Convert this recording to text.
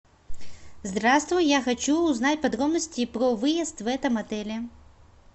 здравствуй я хочу узнать подробности про выезд в этом отеле